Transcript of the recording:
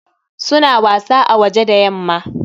Su na wasa a waje da yamma.